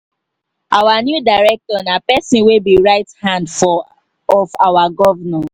our new director nah person wey be right hand for of our governor